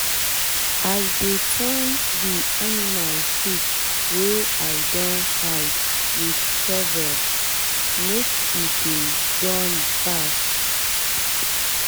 i dey turn the animal shit wey i don hide with shovel make e dey done fast.